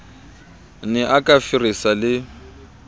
ne a ka feresa le